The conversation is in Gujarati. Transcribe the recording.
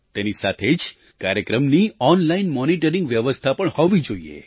તેની સાથે જ કાર્યક્રમની ઑનલાઇન મૉનિટરિંગની વ્યવસ્થા પણ હોવી જોઈએ